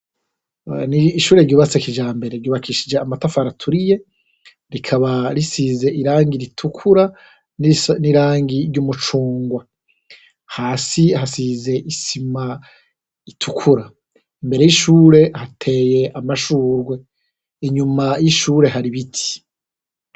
N'ishure ryubatse kijambere, ry'ubakishije amatafari aturiye rikaba risize irangi ritukura n'irangi ry'umucungwe, hasi hasize isima itukura, imbere y'ishure hateye amashurwe, inyuma y'ishure hari ibiti.